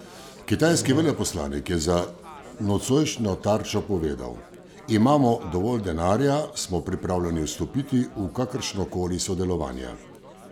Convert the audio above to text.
Kitajski veleposlanik je za nocojšnjo Tarčo povedal: "Imamo dovolj denarja, smo pripravljeni vstopiti v kakršnokoli sodelovanje...